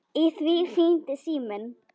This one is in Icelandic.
Í því hringdi síminn.